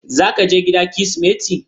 Zaka je gida kirismeti?